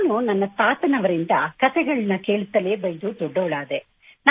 ನಾನು ನನ್ನ ತಾತನವರಿಂದ ಕತೆಗಳನ್ನು ಕೇಳುತ್ತಲೇ ಬೆಳೆದು ದೊಡ್ಡವಳಾದೆ